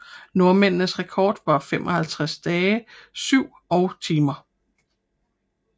Nordmændenes rekord var 55 dage 7 og timer